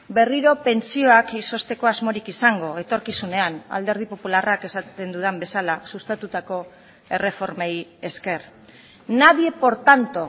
berriro pentsioak izozteko asmorik izango etorkizunean alderdi popularrak esaten dudan bezala sustatutako erreformei esker nadie por tanto